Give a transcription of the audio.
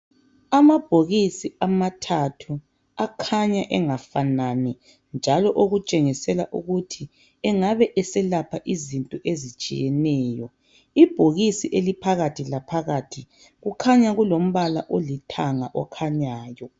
Amabhokisi amathathu akhanya engafanani njalo okutshengisela ukuthi engabe eselapha izinto ezitshiyeneyo .Ibhokisi eliphakathi laphakathi kukhanya kulombala olithanga okhanyayo